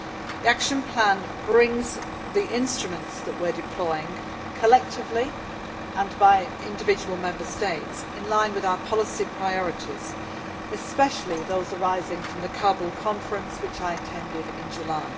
The action plan brings the instruments that are being deployed collectively and by individual Member States in line with our policy priorities especially those arising from the Kabul Conference, which I attended in July.